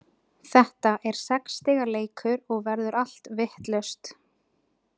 Þetta er sex stiga leikur og verður allt vitlaust.